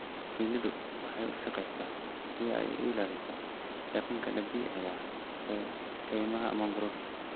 Shinnidu waxay u shaqeysaa si ay u ilaaliso deegaanka dabiiciga ah ee kaymaha mangrove.